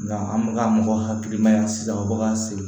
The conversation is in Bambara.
an bɛ ka mɔgɔ hakilimaya sisan baga siri